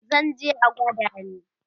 zanje a gwada ni